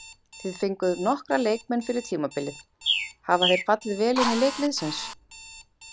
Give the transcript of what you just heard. Þið fenguð nokkra leikmenn fyrir tímabilið, hafa þeir fallið vel inn í leik liðsins?